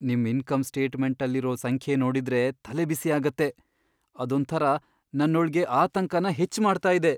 ನಿಮ್ ಇನ್ಕಮ್ ಸ್ಟೇಟ್ಮೆಂಟಲ್ಲಿರೋ ಸಂಖ್ಯೆ ನೋಡಿದ್ರೆ ತಲೆಬಿಸಿ ಆಗತ್ತೆ.. ಅದೊಂಥರ ನನ್ನೊಳ್ಗೆ ಆತಂಕನ ಹೆಚ್ಚ್ ಮಾಡ್ತಾ ಇದೆ.